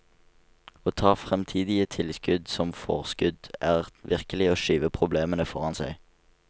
Å ta fremtidige tilskudd som forskudd, er virkelig å skyve problemene foran seg.